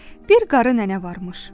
Bir qarı nənə varmış.